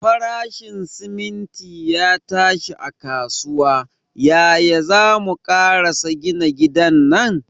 Farashin siminti ya tashi a kasuwa, yaya zamu karasa gina gidan nan?